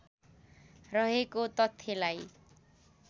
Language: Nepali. रहेको तथ्यलाई